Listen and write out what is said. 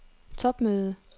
topmøde